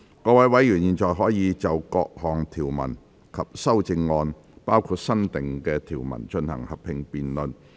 各位委員現在可以就各項條文及修正案，進行合併辯論。